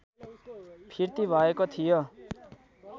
फिर्ती भएको थियो